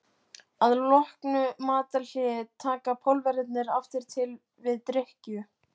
Að loknu matarhléi taka Pólverjarnir aftur til við drykkju.